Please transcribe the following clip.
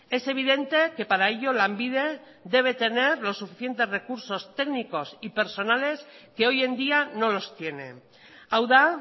es evidente que para ello lanbide debe tener los suficientes recursos técnicos y personas que hoy en día no los tiene hau da